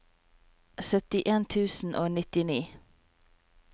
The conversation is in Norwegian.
syttien tusen og nittini